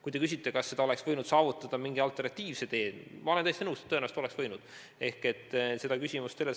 Kui te küsite, kas seda võiks saavutada mingil alternatiivsel teel, siis ma olen täiesti nõus, et tõenäoliselt saaks.